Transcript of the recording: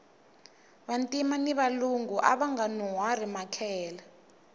vantima ni valungu avanga nuhwari makehele